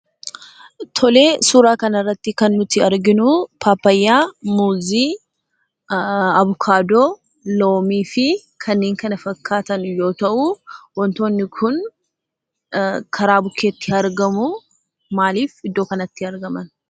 Tolee, suuraa kanarratti kan nuti arginuu pappayyaa, muuzii, avokaadoo, loomifii kanneen kana fakkaatan yoo ta'uu wantoonni kun karaa bukkeetti argamuu. Maalif iddoo kanatti argaman?